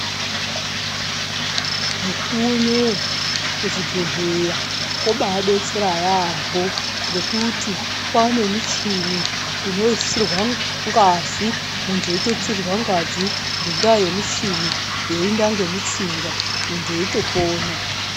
Mukuwo unowo kuzvibhedhleya kobaadetsera yaambo ngekuti kwaanemichini inoisirwa ngazi. Muntu eitutsirwa ngazi ngendaa yemuchini, yeiinda ngemutsinga, muntu eitopona.